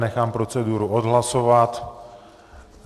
Nechám proceduru odhlasovat.